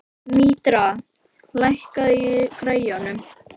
Mítra, lækkaðu í græjunum.